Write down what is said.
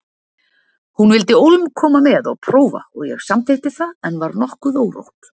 Hún vildi ólm koma með og prófa og ég samþykkti það en var nokkuð órótt.